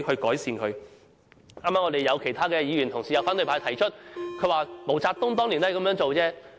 剛才有其他的議員同事、有反對派提出，毛澤東當年也是這樣做。